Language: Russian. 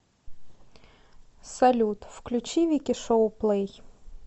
салют включи вики шоу плэй